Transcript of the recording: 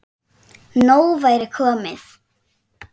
Nóg væri komið.